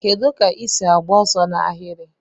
Kedu ka isi agba ọsọ na ahiri?